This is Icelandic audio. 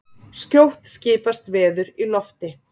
Skjótt skipast veður í lofti